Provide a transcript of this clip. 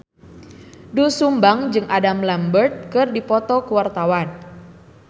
Doel Sumbang jeung Adam Lambert keur dipoto ku wartawan